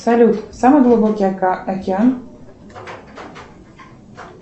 салют самый глубокий океан